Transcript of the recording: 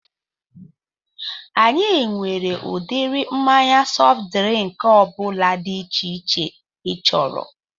Anyị nwere udiri mmanya sọft drịnk ọbụla dị iche iche ị chọrọ